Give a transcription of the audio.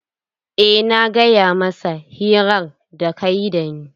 Eh na gaya masa hirar da kayi da ni.